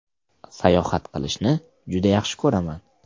Sayohat qilishni juda yaxshi ko‘raman.